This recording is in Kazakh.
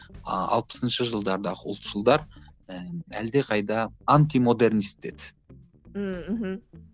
алпысыншы жылдардағы ұлтшылдар әлдеқайда антимодернист еді ммм мхм